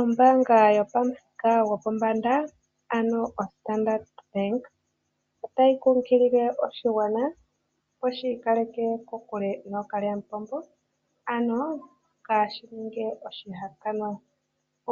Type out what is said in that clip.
Ombaanga yopamuthika gopombanda ano oStandard Bank otayi kunkilile oshigwana opo shi ikaleke kokule nookalyamupombo, ano kaa shi ninge oshihakanwa.